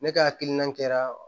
Ne ka hakilina kɛra